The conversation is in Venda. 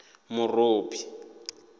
murobi